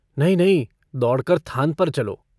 नहीं, नहीं दौड़कर थान पर चलो।